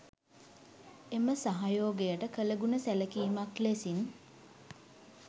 එම සහයෝගයට කලගුණ සැලකිමක් ලෙසින්